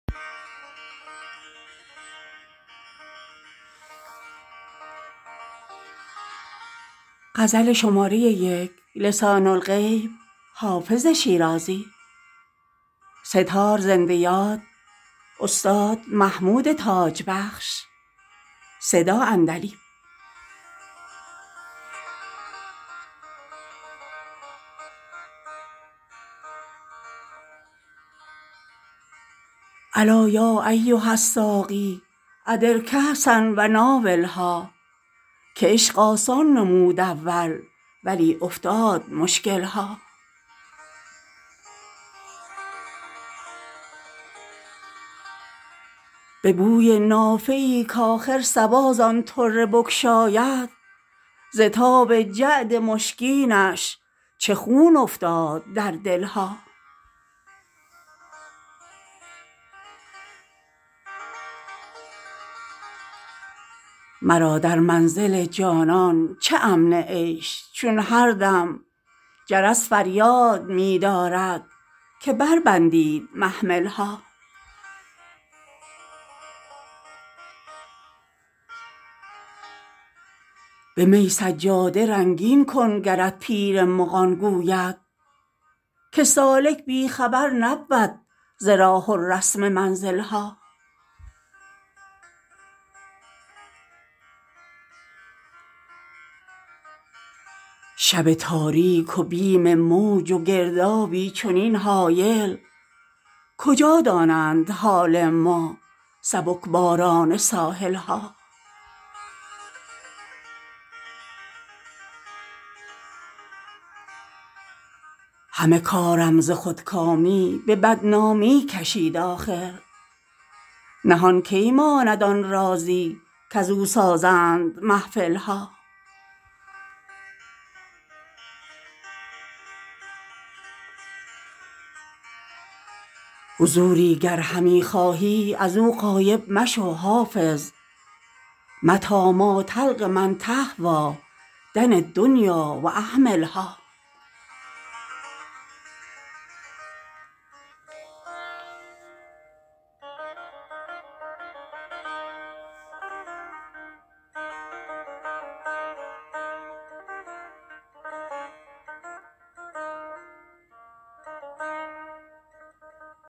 الا یا ایها الساقی ادر کأسا و ناولها که عشق آسان نمود اول ولی افتاد مشکل ها به بوی نافه ای کآخر صبا زان طره بگشاید ز تاب جعد مشکینش چه خون افتاد در دل ها مرا در منزل جانان چه امن عیش چون هر دم جرس فریاد می دارد که بربندید محمل ها به می سجاده رنگین کن گرت پیر مغان گوید که سالک بی خبر نبود ز راه و رسم منزل ها شب تاریک و بیم موج و گردابی چنین هایل کجا دانند حال ما سبک باران ساحل ها همه کارم ز خودکامی به بدنامی کشید آخر نهان کی ماند آن رازی کزو سازند محفل ها حضوری گر همی خواهی از او غایب مشو حافظ متیٰ ما تلق من تهویٰ دع الدنیا و اهملها